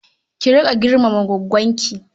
Ki riƙa girmama goggonki.